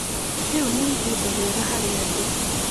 Rĩu nĩ ihinda rĩega harĩa ndĩ